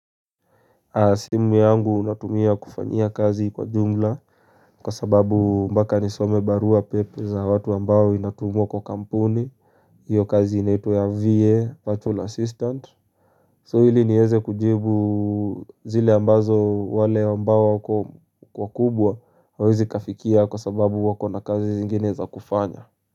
Simu yangu unatumia kufanya kazi kwa jumla kwa sababu mpaka nisome barua pepe za watu ambao inatumua kwa kampuni hiyo kazi inaitwa ya VA, Patrol Assistant So hili nieze kujibu zile ambazo wale ambao wako kwa kubwa hawezi kafikia kwa sababu wako na kazi zingine za kufanya.